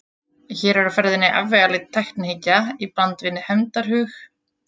Hér er á ferðinni afvegaleidd tæknihyggja í bland við hefndarhug.